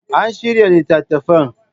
An shirya littattafan.